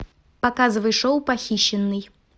показывай шоу похищенный